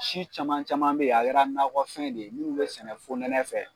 Si caman caman be yen a kɛra nakɔfɛn de ye n'u bɛ sɛnɛ fonɛnɛ fɛ